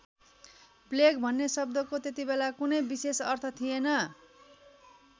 Plague भन्ने शब्दको त्यतिबेला कुनै विशेष अर्थ थिएन।